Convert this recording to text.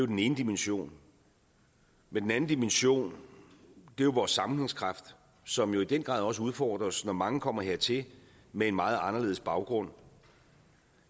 den ene dimension men den anden dimension er jo vores sammenhængskraft som i den grad også udfordres når mange kommer hertil med en meget anderledes baggrund